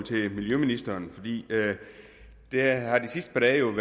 til miljøministeren der er de sidste par dage